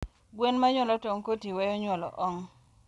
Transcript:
gwen manyuolo tong kotii weyo nyuolo ong